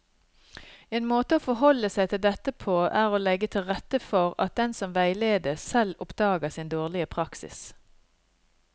En måte å forholde seg til dette på er å legge til rette for at den som veiledes, selv oppdager sin dårlige praksis.